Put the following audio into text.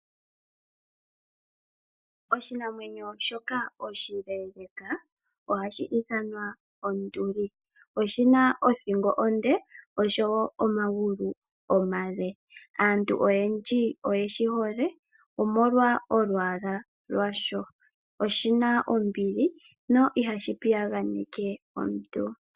Oshinamwenyo shoka oshileeleka ohashi ithanwa onduli oshina othingo onde osho woo omagulu omale. Aantu oyendji oyeshi hole omolwa olwaalwa lwasho oshina ombili no ihashi piyaganeke omuntu.